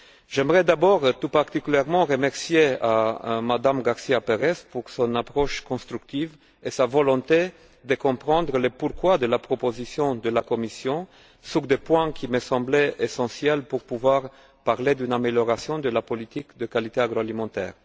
J'aimerais remercier tout particulièrement Mme García Pérez pour son approche constructive et sa volonté de comprendre le pourquoi de la proposition de la Commission sur des points qui me semblaient essentiels pour pouvoir parler d'une amélioration de la politique de qualité agroalimentaire.